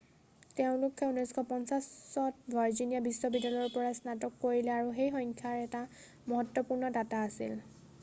তেওঁলোকে 1950ত ভাৰ্জিনিয়া বিশ্ববিদ্যালয়ৰ পৰা স্নাতক কৰিলে আৰু সেই সংখ্যাৰ এটা মহত্বপূৰ্ণ দাতা আছিল